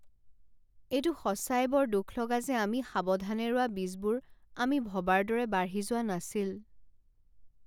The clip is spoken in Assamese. এইটো সঁচাই বৰ দুখলগা যে আমি সাৱধানে ৰোৱা বীজবোৰ আমি ভবাৰ দৰে বাঢ়ি যোৱা নাছিল।